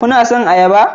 Kuna son ayaba?